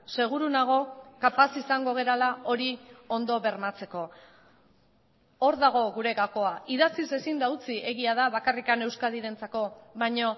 seguru nago kapaz izango garela hori ondo bermatzeko hor dago gure gakoa idatziz ezin da utzi egia da bakarrik euskadirentzako baino